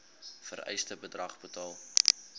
vereiste bedrag betaal